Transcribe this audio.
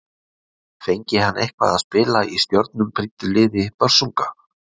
Fengi hann eitthvað að spila í stjörnum prýddu liði Börsunga?